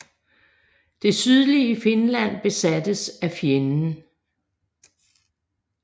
Det sydlige Finland besattes af fjenden